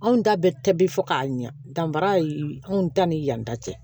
Anw da bɛ tɛbi fo k'a ɲa danfara anw ta ni yan ta tɛ